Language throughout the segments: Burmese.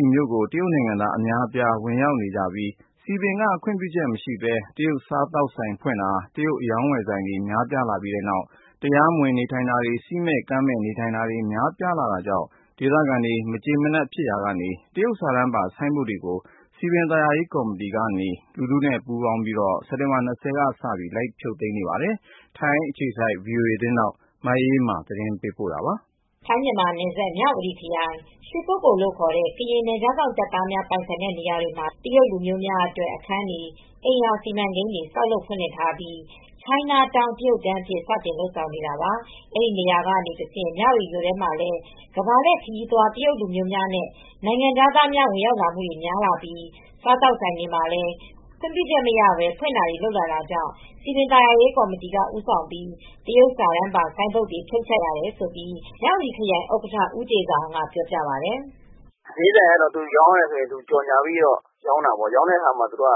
ီမြို့ကို တရုတ်နိုင်ငံသား အများအပြား ဝင်ရောက်နေကြပြီး စည်ပင်က ခွင့်ပြုချက်မရှိဘဲ တရုတ်စားသောက်ဆိုင်ဖွင့်တာ၊ တရုတ်အရောင်းအဝယ်ဆိုင်တွေ များလာပြီးနောက် တရားမဝင် နေထိုင်တာတွေ၊ စည်းမဲ့ကမ်းမဲ့ နေထိုင်တာတွေ များပြားလာတာကြောင့် ဒေသခံတွေ မကျေမနပ်ဖြစ်ရာကနေ တရုတ်စာတန်းပါ ဆိုင်းဘုတ်တွေကို စည်ပင်သာယာရေးကော်မတီကနေ လူထုနဲ့ပူးပေါင်းပြီး စက်တင်ဘာ ၂၀ ရက်ကစလို့ လိုက်ဖြုတ်သိမ်းနေပါတယ်။ အပြည့်အစုံကို ဗွီအိုအေ မြန်မာပိုင်းသတင်းထောက် မအေးအေးမာက တင်ပြထားပါတယ်။ ထိုင်း-မြန်မာနယ်စပ်က မြဝတီခရိုင် ရွှေကုက္ကိရ်လို့ခေါ်တဲ့ ကရင်နယ်ခြားစောင့် တပ်သားများ ပိုင်ဆိုင်တဲ့ နေရာတွေမှာတော့ တရုတ်လူမျိုးတွေအတွက် အခန်းတွေ၊ အိမ်ရာစီမံကိန်းတွေ ဆောက်လုပ်ဖွင့်လှစ်ထားပြီး ချိုင်းနားတောင်း တရုတ်တန်းအဖြစ် စတင်လုပ်ဆောင်နေတာပါ။ အဲဒီနေရာကနေ တဆင့် မြဝတီမြို့ထဲမှာလည်း ကမ္ဘာလှည့်ခရီးသွား တရုတ်လူမျိုးများနဲ့ နိုင်ငံခြားသားများ ဝင်ရောက်လာမှုတွေ များလာပြီး စားသောက်ဆိုင်တွေလည်း ခွင့်ပြုချက်မရဘဲ ဖွင့်တာတွေ လုပ်လာတာကြောင့် စည်ပင်သာယာရေးကော်မတီက ဦးဆောင်ပြီး တရုတ်စာတန်းပါ ဆိုင်းဘုတ်တွေကို ဖြုတ်ချတာတွေ လုပ်လာရတယ်လို့ မြဝတီခရိုင် ဥက္ကဋ္ဌ ဦးတေဇာအောင်က ပြောပါတယ်။ “ဈေးဆိုင်ကတော့ သူကြော်ငြာပြီး ရောင်းတာပေါ့။ ရောင်းတဲ့အခါ ကြော်ငြာ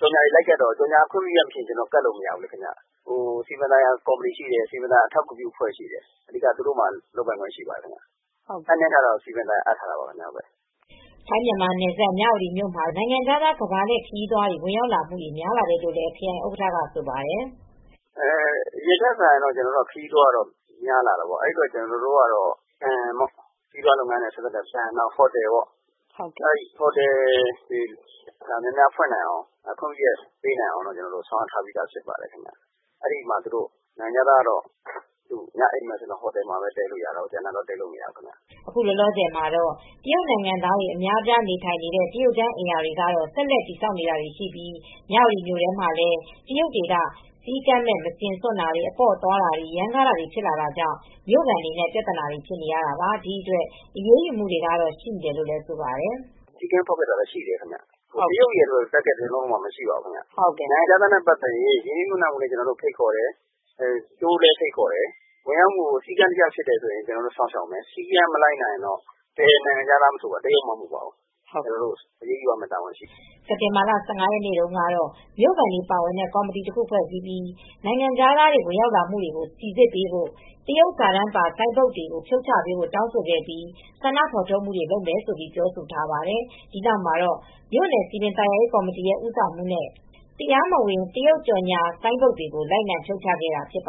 တွေ လိုက်ကပ်တော့ ကြော်ငြာက ခွင့်ပြုချက်မရှိရင် ကပ်လို့မရဘူးခင်ဗျ။ စည်ပင်သာယာ ကော်မတီရှိတယ်၊ စည်ပင်သာယာ အထောက်ကူပြုအဖွဲ့ရှိတယ်၊ လုပ်ပိုင်ခွင့်က သူတို့ကို အပ်နှင်းထားပေါ့။” ထိုင်း-မြန်မာနယ်စပ် မြဝတီမြို့မှာတော့ နိုင်ငံခြားသား ကမ္ဘာလှည့်ခရီးသွားတွေ ဝင်ရောက်လာမှုတွေ များလာတယ်လို့ ခရိုင်ဥက္ကဋ္ဌက ဆိုပါတယ်။ “အရင်ထက်စာရင် ခရီးသွားတော့ များလာတယ်။ ခရီးသွားလုပ်ငန်းဘဏ်တွေ၊ ဟိုတယ်တွေ များများဖွင့်နိုင်အောင် ခွင့်ပြုချက်ပေးနိုင်အောင် ဆောင်ရွက်ထားပြီး ဖြစ်ပါတယ်။ နိုင်ငံခြားသားကတော့ ဟိုတယ်မှာပဲ တည်းခိုလို့ရပါမယ်။ ကျန်တဲ့နေရာမှာတော့ တည်းလို့မရဘူး။” အခုလောလောဆယ်မှာတော့ တရုတ်နိုင်ငံသားများ နေထိုင်နေတဲ့ တရုတ်တန်းအိမ်ရာတွေကတော့ ဆက်လက်ဆောက်နေတာတွေရှိပြီး မြဝတီမြို့ထဲမှာလည်း တရုတ်တွေက စည်းကမ်းမဲ့ မစင်စွန့်တာ၊ အပေါ့သွားတာတွေ၊ ရမ်းကားတာတွေ ဖြစ်တာကြောင့် မြို့ခံတွေနဲ့ ပြဿနာတွေ ဖြစ်နေရတာပါ။ ဒီအတွက် အရေးယူမှုတွေကတော့ ရှိနေတယ်လို့ ဆိုပါတယ်။ “နိုင်ငံခြားသားနဲ့ပတ်သက်လို့ စည်းကမ်းဖောက်ဖျက်မှု ရှိပါတယ်။ တရုတ်ရယ်လို့ တားဂက် (target) မရှိပါဘူး။ နိုင်ငံခြားသားနဲ့ပတ်သက်ရင် ရင်းနှီးမြှုပ်နှံမှုကိုလည်း ဖိတ်ခေါ်တယ်။ တိုးရစ်တွေကိုလည်း ဖိတ်ခေါ်တယ်။ နိုင်ငံခြားသားနဲ့ ပတ်သက်ရင် တရုတ်မှမဟုတ်ဘူး၊ စည်းကမ်းဖောက်ဖျက်ရင် ဘယ်နိုင်ငံသားဖြစ်ဖြစ် အရေးယူမှာဖြစ်ပါတယ်။” စက်တင်ဘာလ ၁၅ ရက်နေ့တုန်းကတော့ မြို့ခံတွေပါဝင်တဲ့ ကော်မတီတခု ဖွဲ့စည်းပြီး နိုင်ငံခြားသား ဝင်ရောက်မှုတွေကို စိစစ်ပေးဖို့ တရုတ်စာတန်းပါ ဆိုင်းဘုတ်တွေ ဖြုတ်ချပေးဖို့ တောင်းဆိုခဲ့ပြီး ဆန္ဒဖော်ထုတ်မှုတွေ လုပ်မယ်လို့ ပြောဆိုထားပါတယ်။ ဒီနောက်မှာတော့ မြို့နယ်စည်ပင်သာယာရေးကော်မတီရဲ့ ဦးဆောင်မှုနဲ့ တရားမဝင် တရုတ်ကြော်ငြာဆိုင်းဘုတ်တွေကို လိုက်လံဖြုတ်ချခဲ့ကြတာ ဖြစ်ပါ